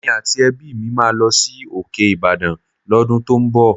Èmi àti ẹbí mi máa lọ sí òkè Ìbàdàn l'ọ́dún tó ń bọ̀